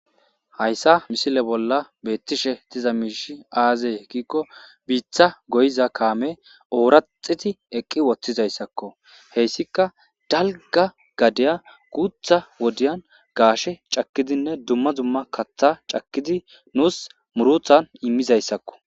hayssa misile bolla beettishe diza miishi aazee giikko biitha goyiza kaame ooraxiti eqqi woththizayssakko heyssika dalga gadeya guutha wodiyan gaashe cakkidinne dumma dumma katha cakkidi nuus muruthan immizayssakko